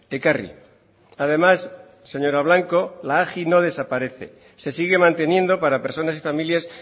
ekarri además señora blanco la agi no desaparece se sigue manteniendo para personas y familias